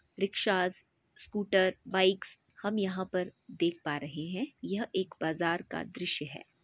Rickshaw scooter bikes हम यहाँ पर देख पा रहे है यह एक बाजार का दृश्य है।